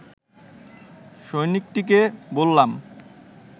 সৈন্যটিকে বললাম